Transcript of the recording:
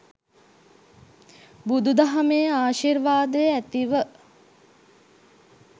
බුදුදහමේ ආශිර්වාදය ඇතිව